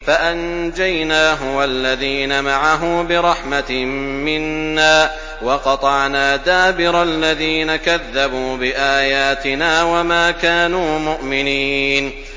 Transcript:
فَأَنجَيْنَاهُ وَالَّذِينَ مَعَهُ بِرَحْمَةٍ مِّنَّا وَقَطَعْنَا دَابِرَ الَّذِينَ كَذَّبُوا بِآيَاتِنَا ۖ وَمَا كَانُوا مُؤْمِنِينَ